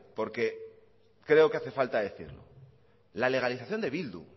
orque creo que hace falta decir la legalización de sortu